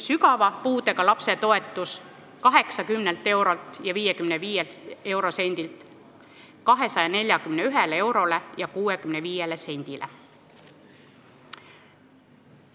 Sügava puudega lapse toetus tõuseks 80 eurolt ja 55 sendilt 241 eurole ja 65 sendile.